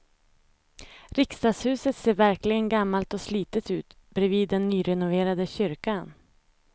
Riksdagshuset ser verkligen gammalt och slitet ut bredvid den nyrenoverade kyrkan.